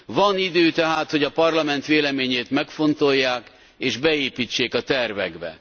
Van idő tehát, hogy a Parlament véleményét megfontolják és beépítsék a tervekbe.